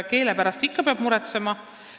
Keele pärast peab ikka ja alati muretsema.